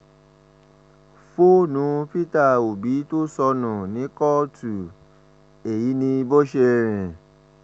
fóònù peter obi tó sọnù ní kóòtù èyí ni bó ṣe rìn